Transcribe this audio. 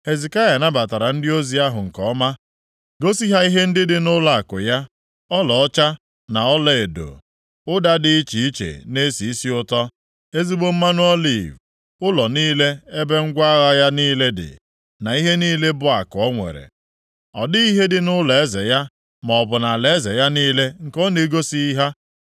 Hezekaya nabatara ndị ozi ahụ nke ọma gosi ha ihe ndị dị nʼụlọakụ ya, ọlaọcha, na ọlaedo, ụda dị iche iche na-esi isi ụtọ, ezigbo mmanụ oliv, ụlọ niile ebe ngwa agha ya niile dị, na ihe niile bụ akụ o nwere. Ọ dịghị ihe dị nʼụlọeze ya maọbụ nʼalaeze ya niile nke ọ na-egosighị ha.